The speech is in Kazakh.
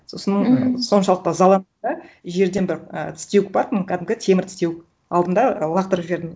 сосын соншалықты ызаландым да жерден бір і тістеуік бар тын кәдімгі темір тістеуік алдым да лақтырып жібердім